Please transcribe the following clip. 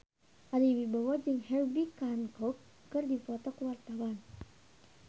Ari Wibowo jeung Herbie Hancock keur dipoto ku wartawan